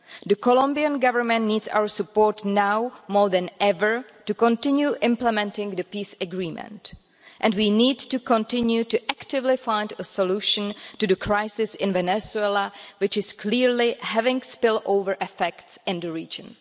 The Colombian Government needs our support now more than ever to continue implementing the peace agreement and we need to continue to actively find a solution to the crisis in Venezuela, which is clearly having spill over effects in the region.